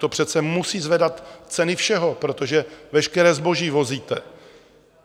To přece musí zvedat ceny všeho, protože veškeré zboží vozíte.